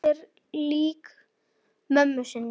Hún er lík mömmu sinni.